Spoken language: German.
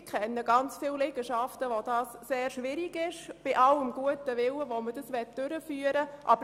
Ich kenne sehr viele Liegenschaften, bei denen das trotz allem guten Willen sehr schwierig wäre.